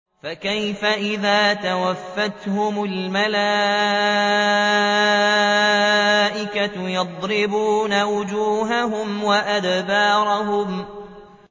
فَكَيْفَ إِذَا تَوَفَّتْهُمُ الْمَلَائِكَةُ يَضْرِبُونَ وُجُوهَهُمْ وَأَدْبَارَهُمْ